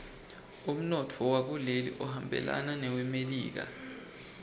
umnotfo wakuleli uhambelana newelemelika